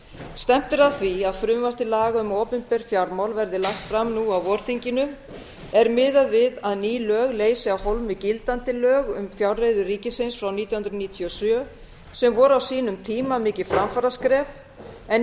stefnt er að því að frumvarp til laga um opinber fjármál verði lagt fram nú á vorþinginu er miðað við að ný lög leysi af hólmi gildandi lög um fjárreiður ríkisins frá nítján hundruð níutíu og sjö sem voru á sínum tíma mikið framfaraskref en